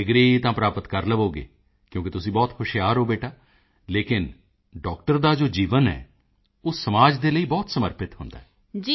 degree ਤਾਂ ਪ੍ਰਾਪਤ ਕਰ ਲਵੋਗੇ ਕਿਉਕਿ ਤੁਸੀਂ ਬਹੁਤ ਹੁਸ਼ਿਆਰ ਹੋ ਬੇਟਾ ਲੇਕਿਨ ਡਾਕਟਰ ਦਾ ਜੋ ਜੀਵਨ ਹੈ ਉਹ ਸਮਾਜ ਦੇ ਲਈ ਬਹੁਤ ਸਮਰਪਿਤ ਹੁੰਦਾ ਹੈ